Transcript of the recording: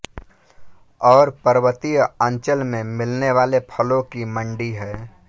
और पर्वतीय अंचल में मिलने वाले फलों की मण्डी है